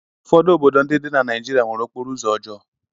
Ụfọdụ obodo ndị dị na Naịjịrịa nwere okporo ụzọ ọjọọ.